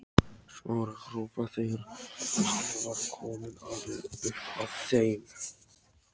Smára hrópa þegar hann var kominn alveg upp að þeim.